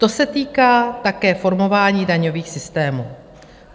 To se týká také formování daňových systémů.